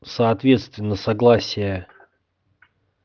соответственно согласие